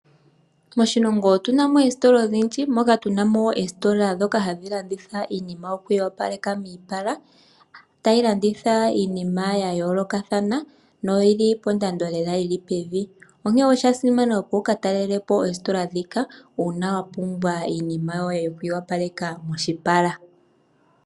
Moshilongo otuna mo oositola odhondji ndhoka hadhi landitha iinima yoku iyo paleka moshipala yo oyina ombiliha onkene oshasimana opo wuka talelepo oositola ndhika uuna wapumbwa iinima yo moshipala.